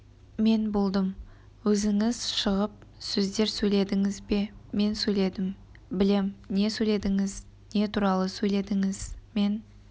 мен болдым өзіңіз шығып сөздер сөйледіңіз бе мен сөйледім білем не сөйледіңіз не туралы сөйледіңіз мен